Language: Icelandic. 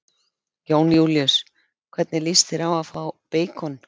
Jón Júlíus: Hvernig lýst þér á að fá beikon?